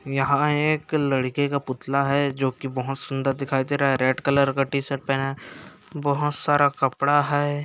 यहाँ एक लड़के का पुतला है जोकि बहोत सुन्दर दिखाई दे रहा है रेड कलर का टी शर्ट है पहना बहोत सारा कपड़ा है।